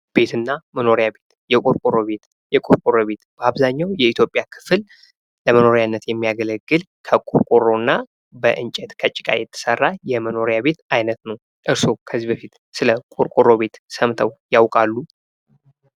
ቤት እና መኖሪያ ቤት ። የቆርቆሮ ቤት ፡ የቆርቆሮ ቤት በአብዛኛው የኢትዮጵያ ክፍል ለመኖሪያነት የሚያገለግል ከቆርቆሮ እና በእንጨት ከጭቃ የተሰራ የመኖሪያ ቤት አይነት ነው ። እርሶ ከዚህ በፊት ስለ ቆርቆሮ ቤት ሰምተው ያውቃሉ?